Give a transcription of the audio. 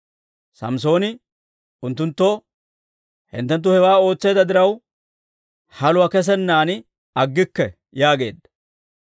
Samssooni unttunttoo, «Hinttenttu hewaa ootseedda diraw, haluwaa kesennaan aggikke» yaageedda.